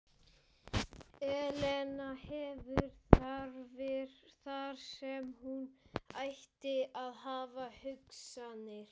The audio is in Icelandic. Elena hefur þarfir þar sem hún ætti að hafa hugsanir.